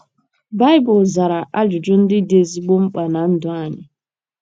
Baịbụl zara ajụjụ ndị dị ezigbo mkpa ná ndụ anyị.